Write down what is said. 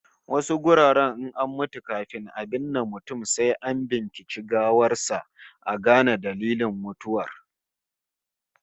Wasu wuraren in an mutu, kafin a binne mutum sai an binciki gawar sa a gane dalilin mutuwar